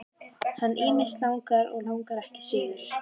Hann ýmist langar eða langar ekki suður.